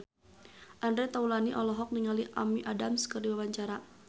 Andre Taulany olohok ningali Amy Adams keur diwawancara